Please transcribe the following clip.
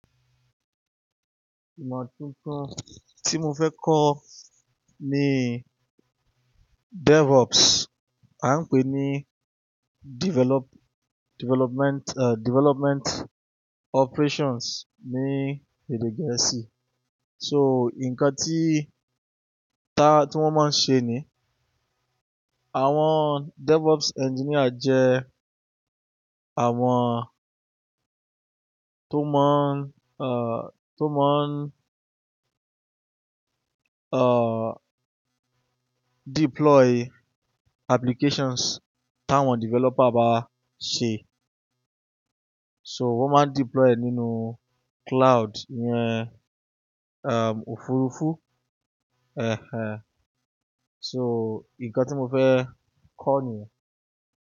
Ìmọ̀ tuntun tí mo fẹ́ kọ ní DevOps, à ń pè ní develop-- development, eh, development operations ní èdè gẹ̀ẹ́sì. So nǹkan tí ta-- tí wọ́n máa ń ṣe ni àwọn DevOps engineer jẹ àwọn tó mọ́ ń, tó mọ́ ń, eh, deploy applications táwọn developer bá ṣe. So wọ́n máa ń deploy nínú cloud yẹn, ehm, òfurufú. Ẹ̀he ẹ. So nǹkan tí mo fẹ́ kọ ni.